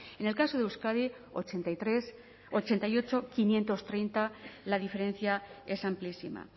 en el caso de euskadi ochenta y ocho quinientos treinta la diferencia es amplísima